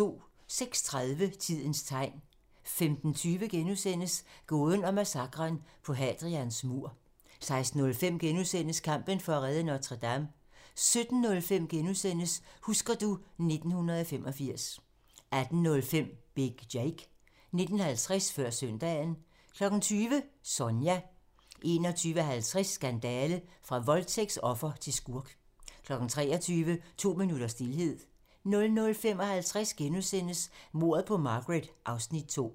06:30: Tidens tegn 15:20: Gåden om massakren på Hadrians mur * 16:05: Kampen for at redde Notre-Dame * 17:05: Husker du ... 1985 * 18:05: Big Jake 19:50: Før søndagen 20:00: Sonja 21:50: Skandale! - fra voldtægtsoffer til skurk 23:00: To minutters stilhed 00:55: Mordet på Margaret (Afs. 2)*